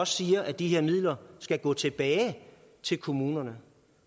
siger at de her midler skal gå tilbage til kommunerne